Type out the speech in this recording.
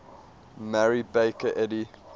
mary baker eddy